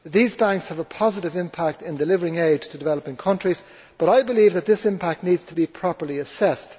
These banks have a positive impact in delivering aid to developing countries, but I believe that this impact needs to be properly assessed.